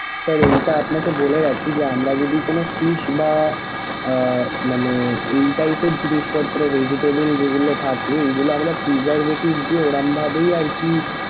sir এইটা আপনাকে বলে রাখি যে আমরা যদি কোনো fish বা আহ মানে এই type এর জিনিসপত্র basically যেগুলো থাকে এগুলো আমরা preservative দিয়ে ওরকম ভাবে আরকি।